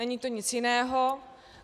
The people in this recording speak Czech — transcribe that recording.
Není to nic jiného.